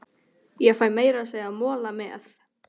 Ég fæ meira að segja mola með.